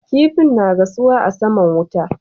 Kifa na gasuwa a saman wuta